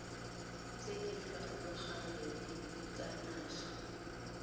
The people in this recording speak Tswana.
tse di farologaneng tsa naga